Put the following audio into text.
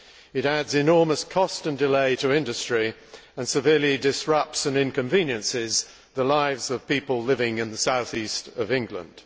It adds enormous cost and delay to industry and severely disrupts and inconveniences the lives of people living in the South East of England.